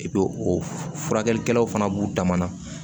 o furakɛlikɛlaw fana b'u dama na